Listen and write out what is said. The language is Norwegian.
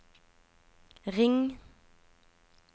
ring